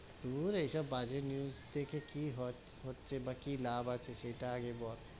দূর এইসব বাজে news দেখে কি হ~ হচ্ছে, বা কি লাভ আছে, সেইটা আগে বল?